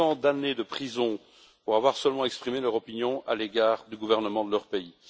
Tant d'années de prison pour avoir seulement exprimé leur opinion à l'égard du gouvernement de leur pays.